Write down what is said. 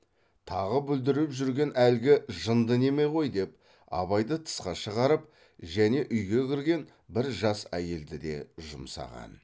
тағы бүлдіріп жүрген әлгі жынды неме ғой деп абайды тысқа шығарып және үйге кірген бір жас әйелді де жұмсаған